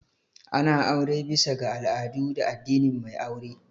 Ana aure bisa ga al'adu da addinin mai aure